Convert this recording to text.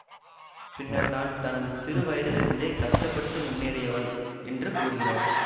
பின்னர் தான் தனது சிறுவயதிலிருந்தே கஷ்ட பட்டு முன்னேறியவள் என்று கூறுகிறார்